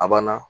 A banna